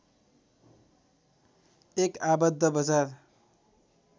एक आबद्ध बजार